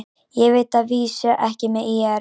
Ég veit að vísu ekki með ÍR.